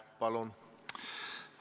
Palun!